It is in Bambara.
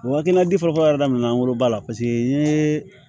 O hakilina di fɔlɔfɔlɔ yɛrɛ daminɛ na an bolo ba la paseke n ye